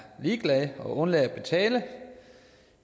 ligeglade og undlader at betale og